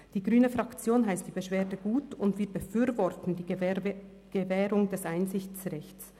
Die grüne Fraktion heisst die Beschwerde gut, und wir befürworten die Gewährung des Einsichtsrechts.